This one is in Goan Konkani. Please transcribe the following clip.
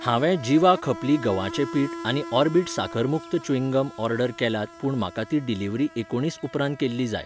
हांवें जिवा खपली गव्हाचे पीठ आनी ऑर्बिट साकर मुक्त च्यूइंग गम ऑर्डर केल्यात पूण म्हाका ती डिलिव्हरी एकुणीस उपरांत केल्ली जाय.